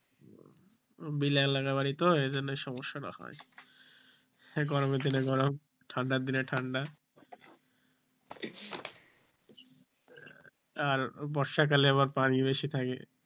এইজন্য সমস্যাটা হয় গরমের দিনে গরম ঠান্ডার দিনে ঠান্ডা আর বর্ষাকালে আবার পানি বেশি থাকে,